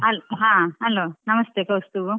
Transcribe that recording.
ಹಾ hello ನಮಸ್ತೆ ಕೌಸ್ತಬ.